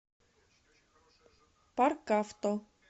паркавто